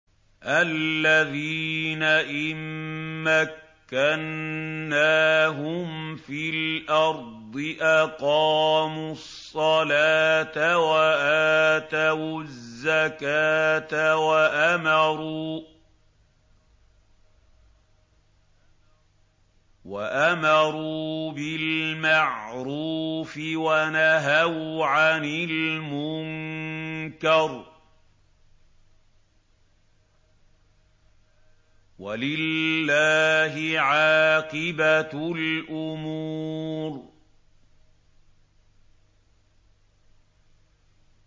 الَّذِينَ إِن مَّكَّنَّاهُمْ فِي الْأَرْضِ أَقَامُوا الصَّلَاةَ وَآتَوُا الزَّكَاةَ وَأَمَرُوا بِالْمَعْرُوفِ وَنَهَوْا عَنِ الْمُنكَرِ ۗ وَلِلَّهِ عَاقِبَةُ الْأُمُورِ